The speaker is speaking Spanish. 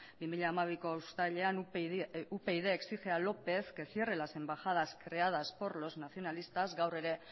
bi mila hamabiko uztailean upyd exige a lópez que cierre las embajadas creadas por los nacionalistas gaur ere